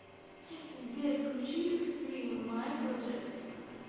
сбер включи хты майкла джексона